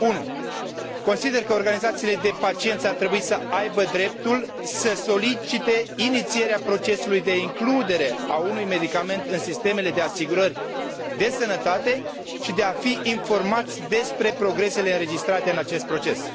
1. consider că organizațiile de pacienți ar trebui să aibă dreptul să solicite inițierea procesului de includere a unui medicament în sistemele de asigurări de sănătate și de a fi informați despre progresele înregistrate în acest proces